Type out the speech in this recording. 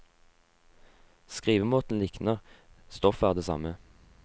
Skrivemåten likner, stoffet er det samme.